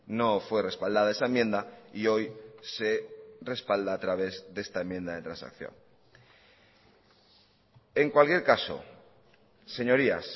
no fue respaldada esa enmienda y hoy se respalda a través de esta enmienda de transacción en cualquier caso señorías